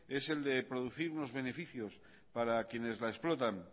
es el de producir unos beneficios para quienes la explotan